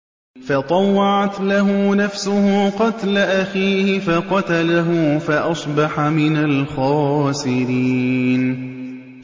فَطَوَّعَتْ لَهُ نَفْسُهُ قَتْلَ أَخِيهِ فَقَتَلَهُ فَأَصْبَحَ مِنَ الْخَاسِرِينَ